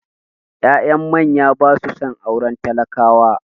Ya'yan manya ba su son auren talakawa